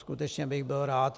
Skutečně bych byl rád.